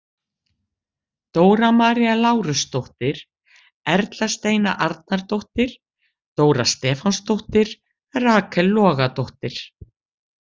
Dóra María Lárusdóttir- Erla Steina Arnardóttir- Dóra Stefánsdóttir- Rakel Logadóttir